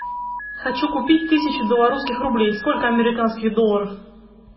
хочу купить тысячу белорусских рублей сколько американских долларов